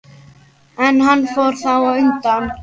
En hann fór þá undan.